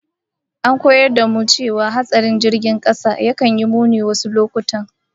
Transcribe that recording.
An koyar da mu cewa hatsarin jirgin kasa yakan yi muni wasu lokutan